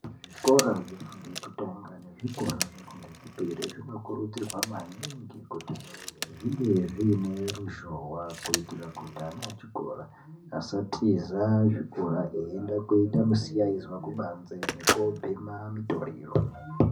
Zvikora zvifundo yekutanga nezvikora zvefundo yechipiri zvinokurudzirwa maningi kuti zvinge zviine ruzhowa kuitira kuti ana echikora asatiza chikora eienda koita misiyaizwa kubanze nekobhema mitoriro.